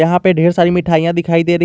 यहां पे ढेर सारी मिठाइयां दिखाई दे रही--